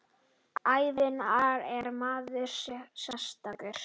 Hvenær er maður sekur?